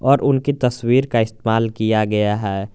और उनके तस्वीर का इस्तमाल किया गया है।